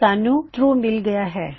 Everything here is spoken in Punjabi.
ਸਾੱਨ੍ਹੂ ਟਰੂ ਮਿਲ ਗਇਆ ਹੈ